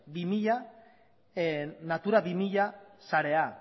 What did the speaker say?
natura bi mila sarea